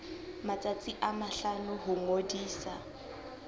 matsatsi a mahlano ho ngodisa